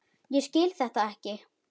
Ég skil þetta ekki!